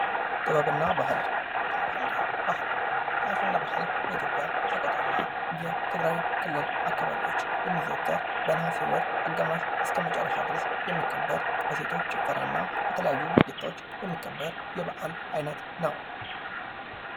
ጥበብ እና ባህል ፡-አሸንዳ በኢትዮጵያ ሰቆጣና የትግራይ ክልል የሚዘወተር በነሀሴ ወር አጋማሽ ጀምሮ እስከ መጨረሻ ድረስ የሚከበር የሴቶች ጭፈራና በተለያዩ ድርጊቶች የሚከበር በዓል ነው ።